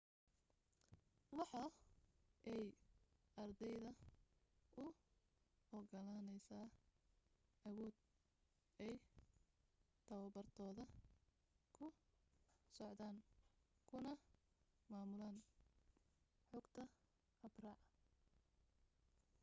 waxa ay ardayda u ogolaaneysa awood ay tabartooda ku socdaan kuna maamulan xogata habraac